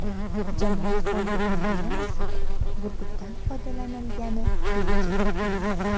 Jamoat fondi emblemasida burgutdan foydalanilgani bejiz emas.